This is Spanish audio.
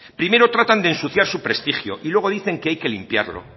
primero tratan de ensuciar su prestigio y luego dicen que hay que limpiarlo